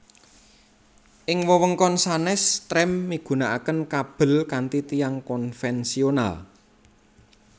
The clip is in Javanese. Ing wewengkon sanés trem migunakaken kabel kanthi tiang konvensional